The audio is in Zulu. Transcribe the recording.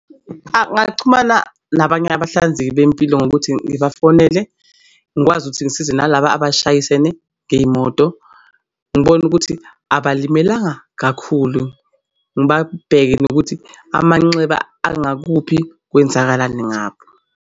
Angaxhumana nabanye abahlinzeki bezempilo ngokuthi ngibafonele. Ngikwazi ukuthi ngisize nalaba abashayisene ngey'moto. Ngibone ukuthi abalimalanga kakhulu ngibabheku nokuthi amanxeba angakuphi kwenzakalani ngabo.